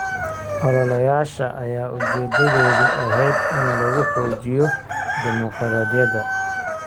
Ololayaasha ayaa ujeedadoodu ahayd in lagu xoojiyo dimuqraadiyadda.